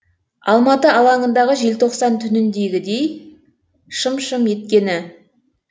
алматы алаңындағы желтоқсан түніндегідей шым шым еткені